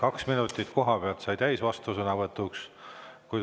Kaks minutit kohapealt sai täis vastusõnavõtuks.